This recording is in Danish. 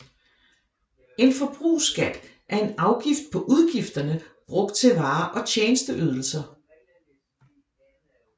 En forbrugsskat er en afgift på udgifterne brugt til varer og tjenesteydelser